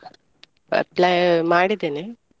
Apply ಮಾಡಿದ್ದೇನೆ.